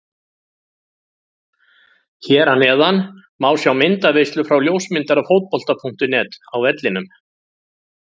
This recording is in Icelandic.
Hér að neðan má sjá myndaveislu frá ljósmyndara Fótbolta.net á vellinum.